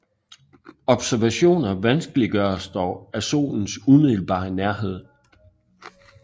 Observationer vanskeliggøres dog af Solens umiddelbare nærhed